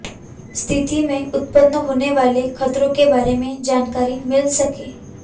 स्थिति में उत्पन्न होने वाले खतरों के बारे में जानकारी मिल सके